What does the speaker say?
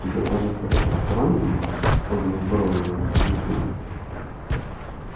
тебе кажется это странным поднял брови его собеседник